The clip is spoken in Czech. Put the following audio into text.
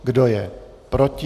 Kdo je proti?